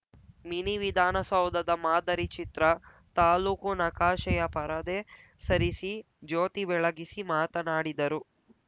mini ವಿಧಾನ ಸೌಧದ ಮಾದರಿ ಚಿತ್ರ ತಾಲೂಕು ನಕಾಶೆಯ ಪರದೆ ಸರಿಸಿ ಜ್ಯೋತಿ ಬೆಳಗಿಸಿ ಮಾತನಾಡಿದರು